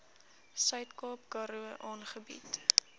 suidkaap karoo aangebied